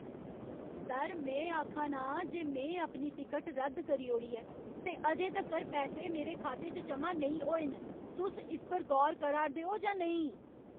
Sir! में आखा ना आं जे में अपनी टिकट रद्द करी ओड़ी ऐ ते अजें तक्कर पैसे मेरे खाते च जमा नेईं होए न। तुस इस पर गौर करा 'रदे ओ जां नेईं?